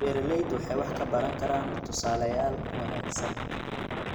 Beeraleydu waxay wax ka baran karaan tusaalayaal wanaagsan.